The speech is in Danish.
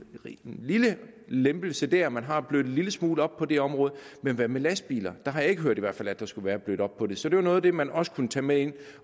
lille lempelse der man har blødt en lille smule op på det område men hvad med lastbiler der har jeg ikke hørt at der skulle være blødt op på det så det var noget af det man også kunne tage med ind